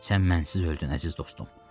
Sən mənsiz öldün, əziz dostum.